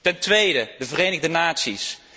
Ten tweede, de Verenigde Naties.